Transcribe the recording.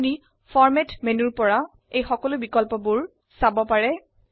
আপনি format menu থেকেও এই সমস্ত বিকল্পগুলি ব্যবহাৰ কৰিব পাৰে